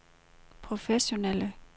professionelle